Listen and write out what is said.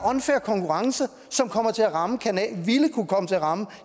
unfair konkurrence som ville kunne komme til at ramme